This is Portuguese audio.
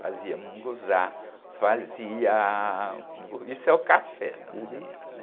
Fazia mungunzá, fazia... Isso é o café da manhã.hum.